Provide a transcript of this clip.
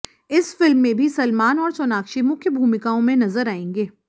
इस फिल्म में भी सलमान और सोनाक्षी मुख्य भूमिकाओं में नजर आएंगे